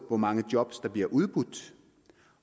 hvor mange job der bliver udbudt